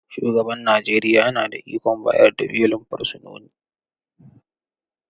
Shugaban Najeriya yana da ikon bayar da belin fursunoni